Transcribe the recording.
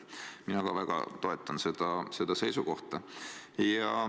Mina ka väga toetan seda seisukohta.